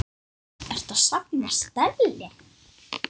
Ertu að safna stelli?